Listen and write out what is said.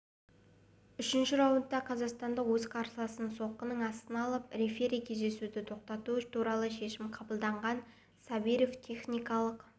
үшінші раундта қазақстандық өз қарсыласын соққының астына алып рефери кездесуді тоқтату туралы шешім қабылдаған сабиров техникалық